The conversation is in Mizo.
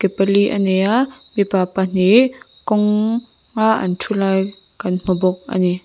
ke pali a nei a mipa pahnih kawng a an thu lai kan hmu bawk a ni.